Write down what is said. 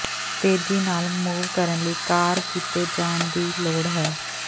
ਤੇਜ਼ੀ ਨਾਲ ਮੂਵ ਕਰਨ ਲਈ ਕਾਰ ਕੀਤੇ ਜਾਣ ਦੀ ਲੋੜ ਹੈ